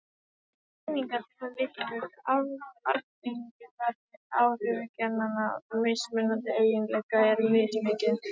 Slíkar greiningar sýna líka að arfgengi, það er áhrif genanna, mismunandi eiginleika er mismikið.